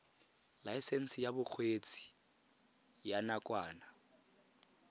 laesense ya bokgweetsi ya nakwana